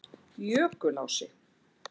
Jökulási